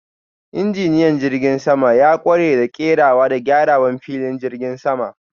Injiniyan jirgin sama ya kware a kerawa da gyarawan filin jigin sama.